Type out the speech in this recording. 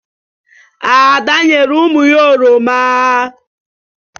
Ada nyere ụmụ ya oroma.